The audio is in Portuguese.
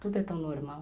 Tudo é tão normal.